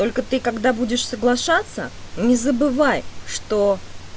только ты когда будешь соглашаться не забывай что